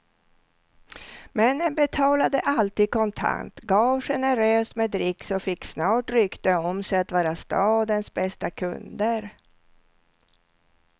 Männen betalade alltid kontant, gav generöst med dricks och fick snart rykte om sig att vara stadens bästa kunder.